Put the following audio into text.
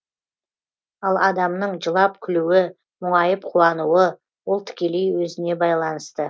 ал адамның жылап күлуі мұңайып қуануы ол тікелей өзіне байланысты